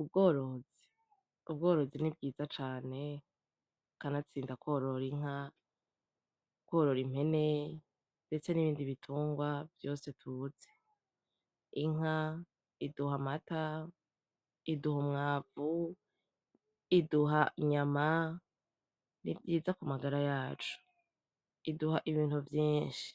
Ubworozi ubworozi ni bwiza cane, kanatsinda kworora inka, kworora impene ndetse nibindi bitungwa vyose tuzi, inka iduha amata, iduha umwavu, iduha inyama, nivyiza kumagara yacu, iduha ibintu vyinshi,